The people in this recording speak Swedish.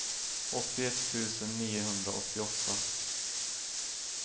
åttioett tusen niohundraåttioåtta